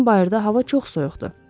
Yəqin bayırda hava çox soyuqdur.